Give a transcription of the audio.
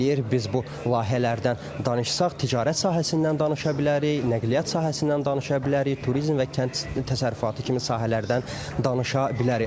Biz bu layihələrdən danışsaq, ticarət sahəsindən danışa bilərik, nəqliyyat sahəsindən danışa bilərik, turizm və kənd təsərrüfatı kimi sahələrdən danışa bilərik.